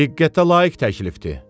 Diqqətə layiq təklifdir.